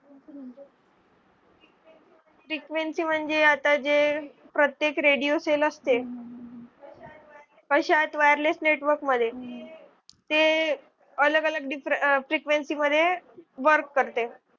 frequency म्हणजे आता जे प्रत्येक radio cell असते. कशात wireless network मध्ये ते अलग अलग frequency मध्ये work करते